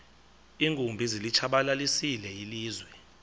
iinkumbi zilitshabalalisile ilizwe